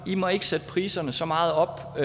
i må ikke sætte priserne så meget op